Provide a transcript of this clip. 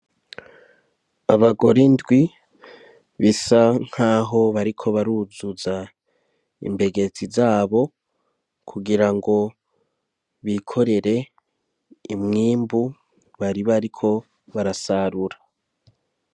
Abagore indwi bisa nk'aho bariko baruzuza imbegeti zabo kugira ngo bikorere umwimbu bari bariko barasarura.